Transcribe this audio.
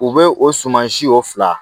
U bɛ o suman si o fila